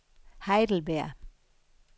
Heidelberg